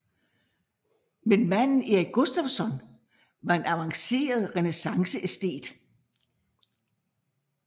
Men manden Erik Gustavsson var en avanceret renæssanceæstet